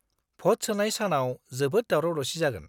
भ'ट सोनाय सानाव जोबोद दावराव-दावसि जागोन।